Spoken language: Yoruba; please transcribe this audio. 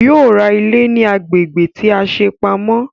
Yóò ra ilé ní agbègbè tí a ṣe pamọ́